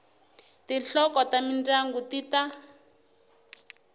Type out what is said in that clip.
tinhloko ta mindyangu ti ta